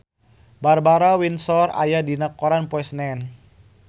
Barbara Windsor aya dina koran poe Senen